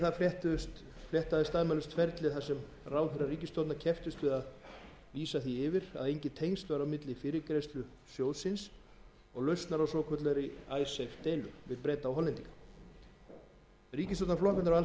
ráðherrar ríkisstjórnarinnar kepptust við að lýsa því yfir að engin tengsl væru á milli fyrirgreiðslu alþjóðagjaldeyrissjóðsins og lausnar svokallaðrar icesave deilu við breta og hollendinga ríkisstjórnarflokkarnir á